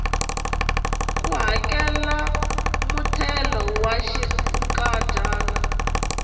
ku hakela muthelo wa xinkadyana